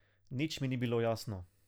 Nič mi ni bilo jasno.